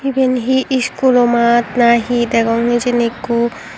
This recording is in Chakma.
eben he school oo maat na he degong hejeni ekku.